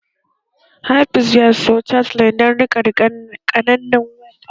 Hafiz ya siyo chatelaine dan riqe qananan kaya